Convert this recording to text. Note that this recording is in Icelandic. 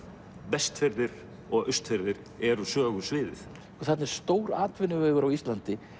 Vestfirðir og Austfirðir eru sögusviðið þarna er stór atvinnuvegur á Íslandi